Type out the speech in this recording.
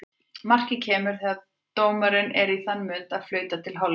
Markið kemur þegar dómarinn er í þann mund að flauta til hálfleiks.